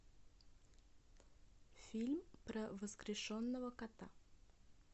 фильм про воскрешенного кота